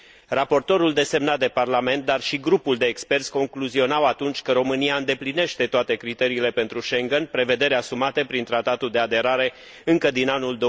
Raportorul desemnat de Parlament, dar și grupul de experți concluzionau atunci că România îndeplinește toate criteriile pentru Schengen, prevederi asumate prin Tratatul de aderare încă din anul